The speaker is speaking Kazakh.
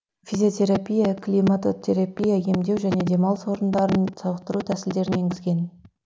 физиотерапия климатотерапиямен емдеу және демалыс орындарында сауықтыру тәсілдерін енгізген